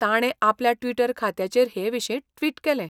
ताणें आपल्या ट्विटर खात्याचेर हेविशीं ट्विट केलें.